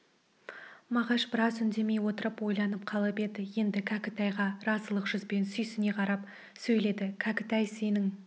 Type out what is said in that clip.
мағаш біраз үндемей отырып ойланып қалып еді енді кәкітайға разылық жүзбен сүйсіне қарап сөйледі кәкітай сенің